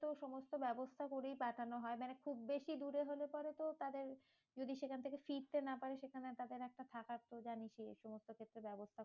তো সমস্ত ব্যবস্থা করেই পাঠানো হয়। মানে খুব বেশি দূরে হলে পরে তো তাহলে যদি সেখান থেকে ফিরতে না পারে, সেখানে তাদের একটা থাকার তো জানিসই এই সমস্ত একটু ব্যবস্থা